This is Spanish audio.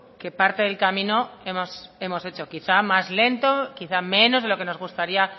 que parte del camino hemos hecho quizá más lento quizá menos de lo que nos gustaría